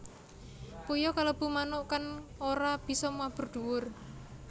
Puyuh kalebu manuk kang ora bisa mabur dhuwur